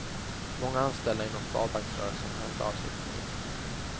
Många anställda inom sparbanksrörelsen har hört av sig till tidningen.